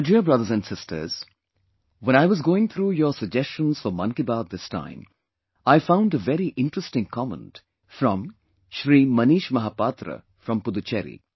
My dear brothers and sisters, when I was going through your suggestion for Mann Ki Baat this time, I found a very interesting comment from Shri Manish Mahapatra from Pudducherry